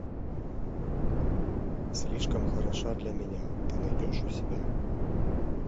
слишком хороша для меня ты найдешь у себя